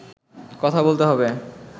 কথা বলতে হবে